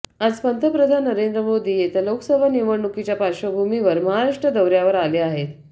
आज पंतप्रधन नरेंद्र मोदी येत्या लोकसभा निवडणुकीच्या पार्श्वभूमीवर महाराष्ट्र दौऱ्यावर आले आहेत